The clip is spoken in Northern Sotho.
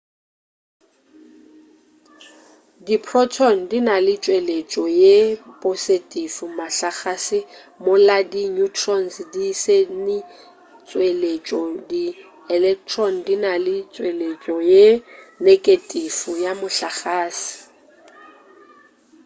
diprotone di na le tšweletšo ye posetifi mohlagase mola di neutrons di se ne tšweletšo di electron di na le tšweletšo ye negetifi ya mohlagase